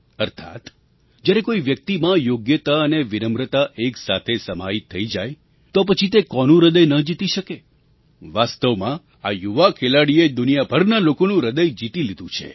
અર્થાત્ જ્યારે કોઈ વ્યક્તિમાં યોગ્યતા અને વિનમ્રતા એક સાથે સમાહિત થઈ જાય તો પછી તે કોનું હૃદય ન જીતી શકે વાસ્તવમાં આ યુવા ખેલાડીએ દુનિયાભરના લોકોનું હૃદય જીતી લીધું છે